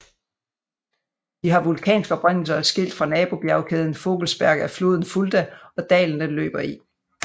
De har vulkansk oprindelse og er skilt fra nabobjegkæden Vogelsberg af floden Fulda og dalen den løber i